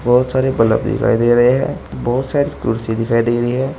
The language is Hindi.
बहोत सारे बल्ब दिखाई दे रहे हैं। बहोत सारी कुर्सी दिखाई दे रही है।